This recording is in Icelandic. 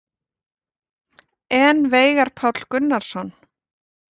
En Veigar Páll Gunnarsson?